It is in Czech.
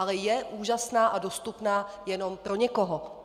Ale je úžasná a dostupná jenom pro někoho.